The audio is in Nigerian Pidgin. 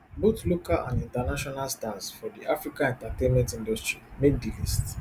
both local and international stars for di africa entertainment industry make di list